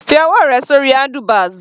Fi ọwọ́ rẹ sórí handlebars.